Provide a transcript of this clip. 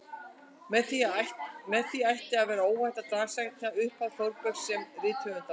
Með því ætti að vera óhætt að dagsetja upphaf Þórbergs sem rithöfundar.